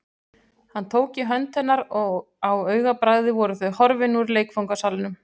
Hann tók í hönd hennar og á augabragði voru þau horfin úr leikfangasalnum.